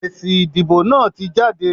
Èsì ìdìbò náà tí jáde.